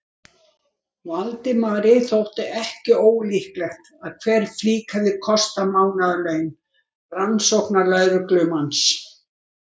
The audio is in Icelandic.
Valdimari þótti ekki ólíklegt að hver flík hefði kostað mánaðarlaun rannsóknarlögreglumanns.